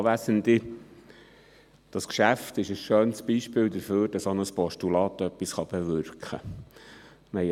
Dieses Geschäft ist ein schönes Beispiel dafür, dass auch ein Postulat etwas bewirken kann.